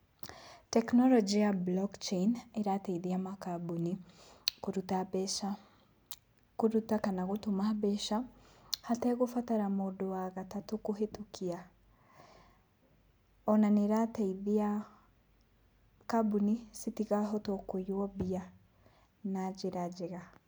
Tekinoronjĩ ya Blockchain ĩrateithia makambũni kũruta mbeca. Kũruta kana gũtũma mbeca, hategũbatara mũndũ wa gatatũ kũhĩtũkia. Ona nĩĩrateithia kambũni citikahotwo kũiywo mbia na njĩra njega.